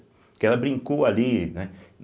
Porque ela brincou ali, né?